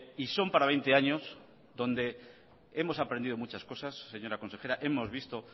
y son para veinte años donde hemos aprendido muchas cosas señora consejera hemos visto